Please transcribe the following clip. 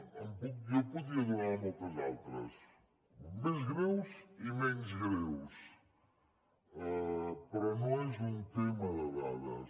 jo en podria donar moltes altres més greus i menys greus però no és un tema de dades